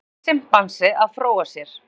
Kvenkyns simpansi að fróa sér.